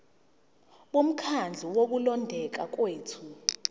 bomkhandlu wokulondeka kwethu